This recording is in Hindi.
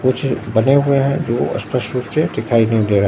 कुछ बने हुए हैं जो स्पष्ट रूप से दिखाई नहीं दे र--